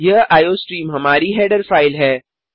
यह आईओस्ट्रीम हमारी header file है